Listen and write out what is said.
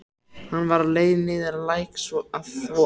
Hún var á leið niður að læk til að þvo.